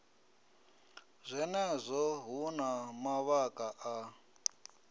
zwenezwo hu na mavhaka a